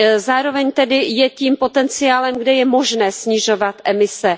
Zároveň tedy je tím potenciálem, kde je možné snižovat emise.